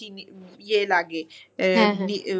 ইয়ে লাগে .